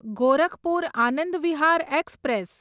Gorakhpur Anand Vihar express